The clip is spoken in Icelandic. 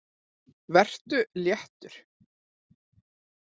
Vertu léttur.